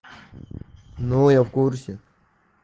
ну я в курсе